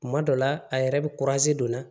Kuma dɔ la a yɛrɛ bɛ don na